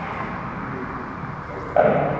ਇਹ ਤੇ ਗੱਲ ਹੈ।